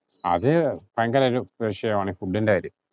അത് ഭയങ്കര ഒരു വിഷയമാണ് ഈ food ഇന്റെ കാര്യം.